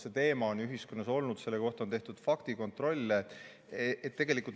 See teema on ühiskonnas olnud ja selle kohta on tehtud faktikontrolle.